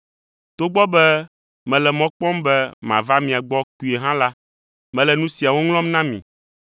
Togbɔ be mele mɔ kpɔm be mava mia gbɔ kpuie hã la, mele nu siawo ŋlɔm na mi,